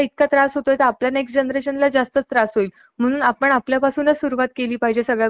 असे असले तरी महाराष्ट्र राज्य हे फक्त हिंदू धर्मासाठी हाय. सतराव्या शतकाच्या मंध्यातरी छत्रपती शिवाजी महाराज